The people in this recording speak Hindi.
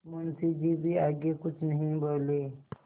मुंशी जी भी आगे कुछ नहीं बोले